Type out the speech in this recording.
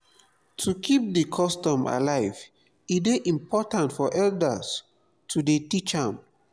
to keep di custom alive e de important for elders to de teach am